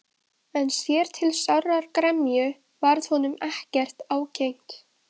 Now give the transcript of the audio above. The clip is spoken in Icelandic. Að öðru leyti lánaðist heldur ekki með þær.